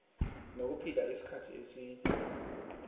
nokuphila isikhathi eside